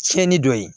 Tiɲɛni dɔ ye